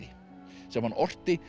sem hann orti